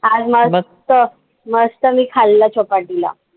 आज मस्त मस्त मी खाल्लं चौपाटीला.